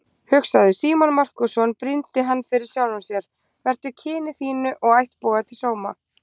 Hugsaðu, Símon Markússon, brýndi hann fyrir sjálfum sér, vertu kyni þínu og ættboga til sóma!